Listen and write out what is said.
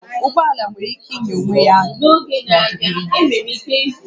Ụgbọ ala nwere ike ịnya onwe ya n'ọdịnihu